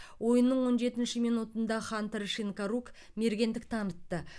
ойынның он жетінші минутында хантер шинкарук мергендік танытты